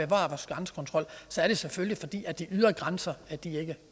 grænsekontrol så er det selvfølgelig fordi de ydre grænser ikke